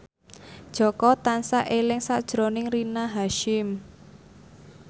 Jaka tansah eling sakjroning Rina Hasyim